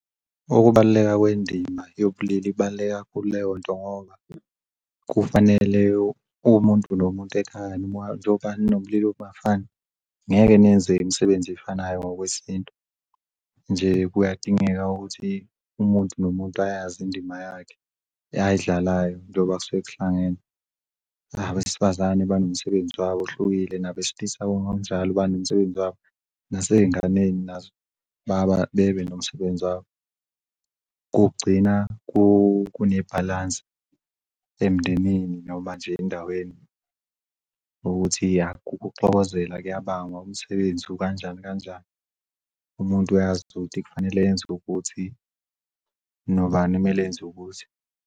Ukubaluleka kwendima yobulili ibaluleke kakhulu leyonto ngoba kufanele umuntu nomuntu ekhaya njoba ninobulili obungafani ngeke nenze imisebenzi efanayo ngokwesintu, nje kuyadingeka ukuthi umuntu nomuntu ayazi indima yakhe ayidlalayo njengoba suke kuhlangenwe. Abesifazane banomsebenzi wabo ohlukile nabesilisa ngokunjalo banomsebenzi wabo naseyinganeni nazo baba bebe nomsebenzi wabo. Kugcina kunebhalansi emndenini noma nje endaweni ukuthi, ya, ukuxokozela kuyabangwa umsebenzi ukanjani kanjani umuntu uyazi ukuthi kufanele yenzu'kuthi nobani kumele enzukuthi.